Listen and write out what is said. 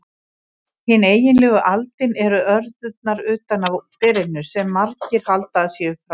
Hin eiginlegu aldin eru örðurnar utan á berinu, sem margir halda að séu fræ.